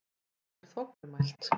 Hún er þvoglumælt.